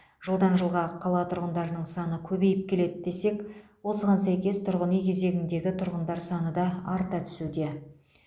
жылдан жылға қала тұрғындарының саны көбейіп келеді десек осыған сәйкес тұрғын үй кезегіндегі тұрғандар саны да арта түсуде